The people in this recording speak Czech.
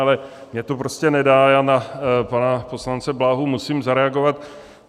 Ale mně to prostě nedá, já na pana poslance Bláhu musím zareagovat.